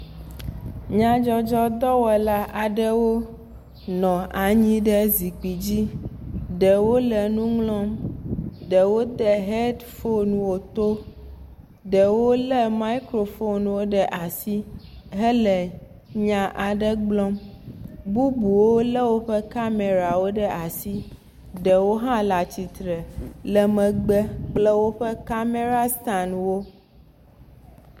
Nyadzɔdzɔdɔwɔla aɖewo nɔ anyi ɖe zikpui dzi, ɖewo le nu ŋlɔm, ɖewo de hɛd fonwo to, ɖewo lé maikrofon ɖe asi, hele nya aɖewo gblɔ, bubuwo lé woƒe kamɛrawo ɖe asi, ɖewo hã le atritre le megbe kple woƒe kamɛra stanwo.